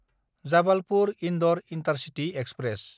जाबालपुर–इन्दर intercity express